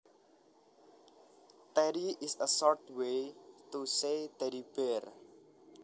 Teddy is a short way to say teddy bear